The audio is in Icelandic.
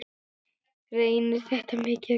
Reynir þetta mikið á krafta?